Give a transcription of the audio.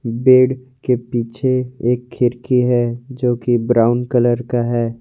Bed के पीछे एक खिड़की है जो कि ब्राउन कलर का है।